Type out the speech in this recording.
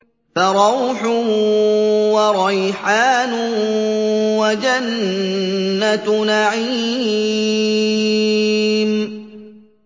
فَرَوْحٌ وَرَيْحَانٌ وَجَنَّتُ نَعِيمٍ